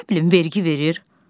Nə bilim, vergi verir?